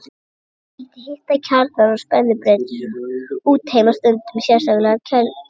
Þau valda hitun kjarnans og spennubreytisins og útheimta stundum sérstaka kælingu.